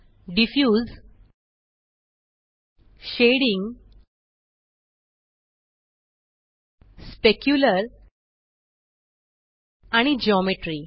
diffuse shading specular आणि geometry